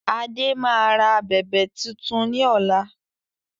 Adé máa ra abẹ̀bẹ̀ tuntun ni ọ̀la